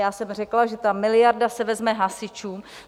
Já jsem řekla, že ta miliarda se vezme hasičům.